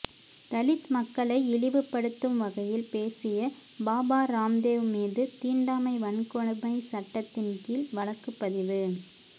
தலித் மக்களை இழிவுபடுத்தும் வகையில் பேசிய பாபா ராம்தேவ் மீது தீண்டாமை வன்கொடுமை சட்டத்தின் கீழ் வழக்கு பதிவு